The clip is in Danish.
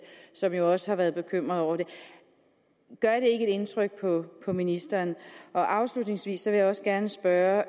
som jo også har været bekymrede over det gør et indtryk på ministeren afslutningsvis vil jeg også gerne spørge